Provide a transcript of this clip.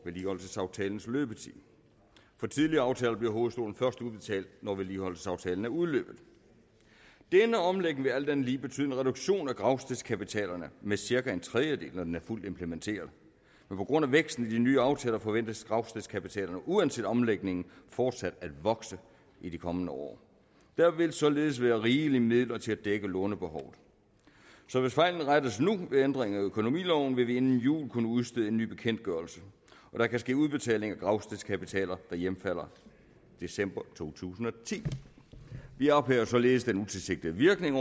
vedligeholdelsesaftalens løbetid for tidligere aftaler bliver hovedstolen først udbetalt når vedligeholdelsesaftalen er udløbet denne omlægning vil alt andet lige betyde en reduktion af gravstedskapitalerne med cirka en tredjedel når den er fuldt implementeret men på grund af væksten af de nye aftaler forventes gravstedskapitalerne uanset omlægningen fortsat at vokse i de kommende år der vil således være rigeligt med midler til at dække lånebehovet så hvis fejlen rettes nu ved ændringer i økonomiloven vil vi inden jul kunne udstede en ny bekendtgørelse og der kan ske udbetaling af gravstedskapitaler der hjemfalder i december to tusind og ti vi ophæver således den utilsigtede virkning